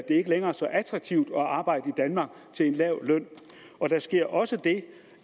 ikke længere er så attraktivt at arbejde i danmark til en lav løn og der sker også det